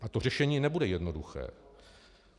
A to řešení nebude jednoduché.